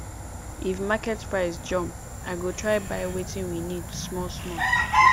if market price jump i go try buy wetin we need smallsmall